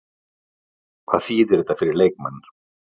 Hvað þýðir þetta fyrir leikmenn?